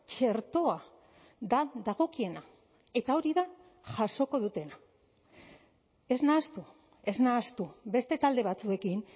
txertoa da dagokiena eta hori da jasoko dutena ez nahastu ez nahastu beste talde batzuekin